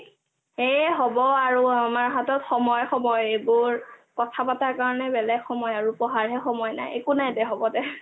এই হ'ব আৰু আমাৰ হাতত সময় সময় এইবোৰ কথা পাতা কাৰণে বেলেগ সময় আৰু কথা পাতা কাৰণে বেলেগ সময় আৰু পঢ়াৰৰ হে সময় নাই একো নাই দে হ'ব দে